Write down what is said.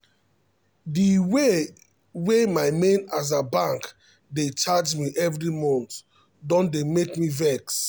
the way wey my main aza bank dey charge me every month don dey make me vex.